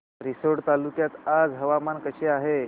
रिसोड तालुक्यात आज हवामान कसे आहे